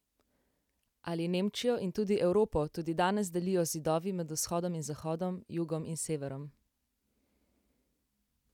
Ali Nemčijo in tudi Evropo tudi danes delijo zidovi, med vzhodom in zahodom, jugom in severom?